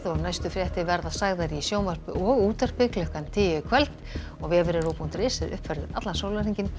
næstu fréttir verða sagðar í sjónvarpi og útvarpi klukkan tíu í kvöld og vefurinn ruv punktur is er uppfærður allan sólarhringinn